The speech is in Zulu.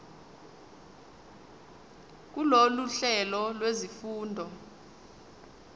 kulolu hlelo lwezifundo